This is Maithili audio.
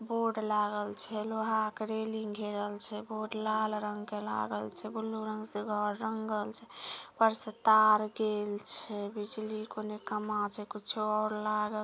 बोर्ड लागल छै लोहा के रेलिंग से घेरल छै बोर्ड लाल रंग के लागल छै ब्लू रंग से घर रंगल छै ऊपर से तार गेल छै बिजली के औने खंभा छै कुछो और लागल --